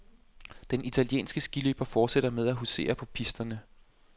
Den italienske skiløber fortsætter med at husere på pisterne.